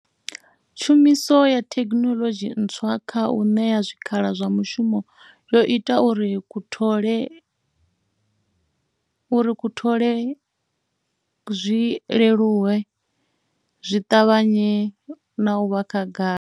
Tshumiso ya thekhinoḽodzhi ntswa kha u ṋea zwikhala zwa mishumo yo ita uri u thole zwi leluwe, zwi ṱavhanye na u vha khagala.